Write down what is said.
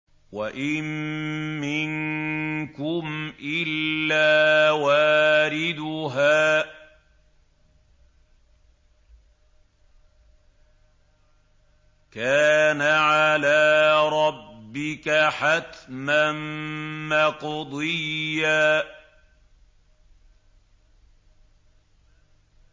وَإِن مِّنكُمْ إِلَّا وَارِدُهَا ۚ كَانَ عَلَىٰ رَبِّكَ حَتْمًا مَّقْضِيًّا